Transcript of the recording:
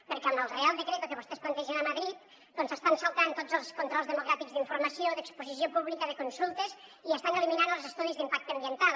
perquè amb el real decreto que vostès plantegen a madrid doncs s’estan saltant tots els controls democràtics d’informació d’exposició pública de consultes i estan eliminant els estudis d’impacte ambiental